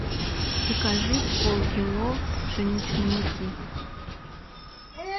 закажи полкило пшеничной муки